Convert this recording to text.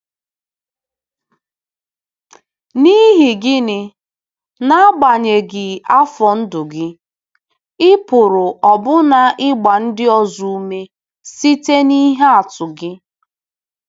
N'ihi gịnị, n'agbanyeghị afọ ndụ gị, ị pụrụ ọbụna ịgba ndị ọzọ ume site n'ihe atụ gị!